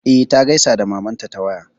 E, ta gaisa da mamanta ta waya.